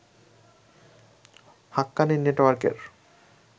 হাক্কানি নেটওয়ার্কের